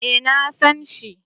Eh na san shi